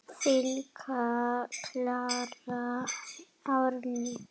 Þín Klara Árný.